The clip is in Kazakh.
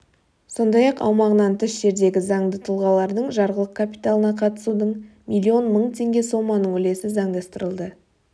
сондай-ақ аумағынан тыс жердегі заңды тұлғалардың жарғылық капиталына қатысудың миллион мың теңге соманың үлесі заңдастырылды